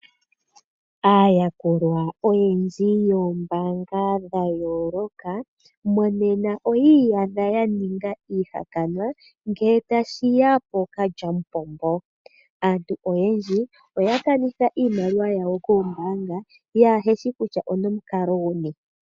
Aayakulwa oyendji yombaanga dha yooloka, monena oyi iyadha ya ninga iihakanwa ngele tashi ya pookalyamupombo. Aantu oyendji oya kanitha iimaliwa yawo koombaanga yaaheshi kutya onomukalo guni.